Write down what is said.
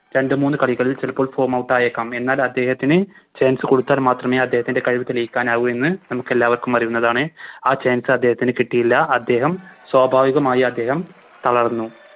രണ്ട് മൂന്ന് കളികളിൽ ചെലപ്പോ Form out ആയേക്കാം എന്നാൽ അദ്ദേഹത്തിന് Chance കൊടുത്താൽ മാത്രമേ അദ്ദേഹത്തിൻറെ കഴിവ് തെളിയിക്കുവാനാവു എന്ന് നമുക്കെല്ലാവർക്കും അറിയുന്നതാണ് ആ Chance അദ്ദേഹത്തിന് കിട്ടിയില്ല അദ്ദേഹം സ്വാഭാവികമായി അദ്ദേഹം തളർന്നു